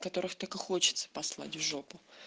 которых так и хочется послать в жопу